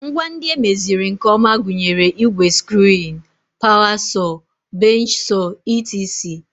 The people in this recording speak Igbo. Ngwa ndị emeziri nke ọma gụnyere igwe screwing, power saw, bench saw etc